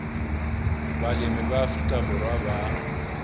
balemi ba afrika borwa ba